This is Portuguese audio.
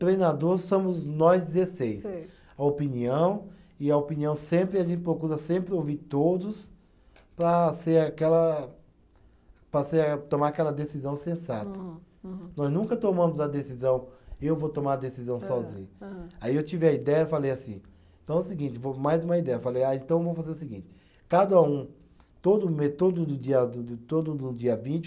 Treinador somos nós dezesseis, a opinião e a opinião sempre a gente procura sempre ouvir todos para ser aquela, para ser a, tomar aquela decisão sensata. Nós nunca tomamos a decisão eu vou tomar a decisão sozinho, aí eu tive a ideia falei assim, então é o seguinte vou mais uma ideia, falei ah então vamos fazer o seguinte cada um todo me, todo do dia to, todo do dia vinte